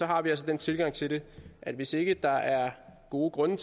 har vi altså den tilgang til det at hvis ikke der er gode grunde